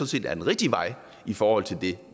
set er den rigtige vej i forhold til det